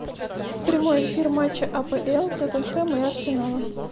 прямой эфир матча апл тоттенхэм и арсенала